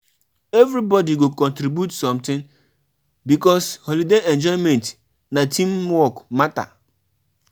If na owanbe you dey plan you suppose plan for wetin pipo go chop